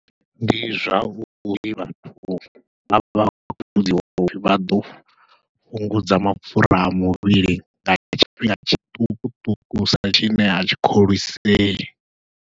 Ndi zwauri vhathu vha vha vha ḓo fhungudza mapfhura a muvhili nga tshifhinga tshiṱukuṱukusa tshine atshi kholisei.